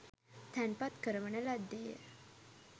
තැන්පත් කරවන ලද්දේ ය